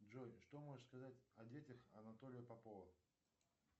джой что можешь сказать о детях анатолия попова